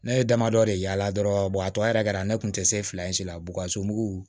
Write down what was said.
Ne ye damadɔ de yaala dɔrɔn a tɔ yɛrɛ kɛra ne kun tɛ se fila in si la bukaso mugu